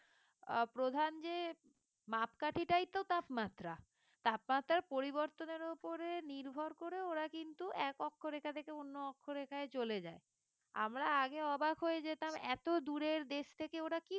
আহ প্রধান যে মাপকাঠি টাই তো তাপমাত্রা তাপমাত্রার পরিবর্তনের ওপরে নির্ভর করে ওরা কিন্তু এক অক্ষরেখা থেকে অন্য অক্ষরেখায় চলে যায় আমরা আগে অবাক হয়ে যেতাম এত দূরের দেশ থেকে ওরা কি করে